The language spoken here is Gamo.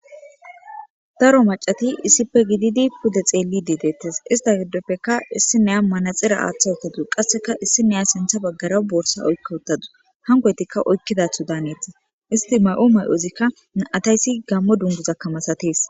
Daro mac'ati issipe gididi pude xelidi detes ista gidopeka isiniya manaxire atawutadus qaseka issiniya sinta bagara borsa oyka utadus hankoytika oykidato danetes isti may'o may'ozika na'ataysi gamo dunguzaka misates.